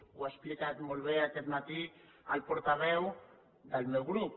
ho ha explicat molt bé aquest matí el portaveu del meu grup